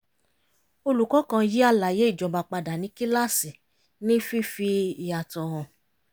olùkọ́ kan yí àlàyé ìjọba padà ní kíláàsì ní fífi yàtọ̀ hàn